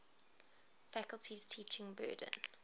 faculty's teaching burden